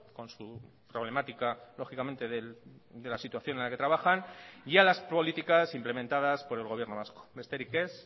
con su problemática lógicamente de la situación en la que trabajan y a las políticas implementadas por el gobierno vasco besterik ez